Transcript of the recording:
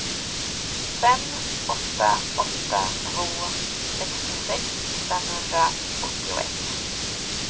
fem åtta åtta två sextiosex femhundraåttioett